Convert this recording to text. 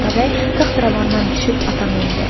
Atabəy taxtravandan düşüb ata mindi.